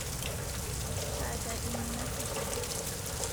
Taata eimina sitima